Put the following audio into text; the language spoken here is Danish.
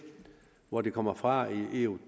hvor de kommer fra i eu